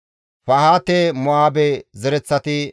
Zakkaye zereththafe 760;